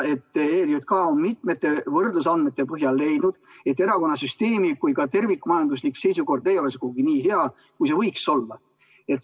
ERJK on mitmete võrdlusandmete põhjal leidnud, et erakonnasüsteemi kui terviku majanduslik seisukord ei ole sugugi nii hea, kui see võiks olla.